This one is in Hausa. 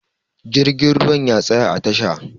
Jirgin ruwa ya tsaya a tasha